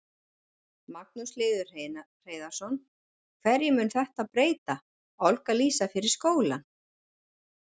Magnús Hlynur Hreiðarsson: Hverju mun þetta breyta, Olga Lísa, fyrir skólann?